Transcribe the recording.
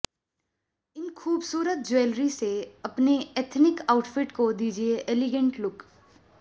इन खूबसूरत ज्वैलरी से अपने एथनिक आउटफिट को दीजिए एलिगेंट लुक